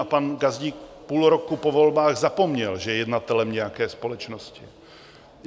A pan Gazdík půl roku po volbách zapomněl, že je jednatelem nějaké společnosti.